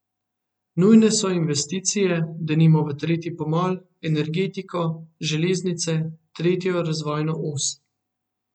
Nujne so investicije, denimo v tretji pomol, energetiko, železnice, tretjo razvojno os.